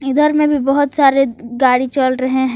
इधर में भी बहोत सारे गाड़ी चल रहे हैं।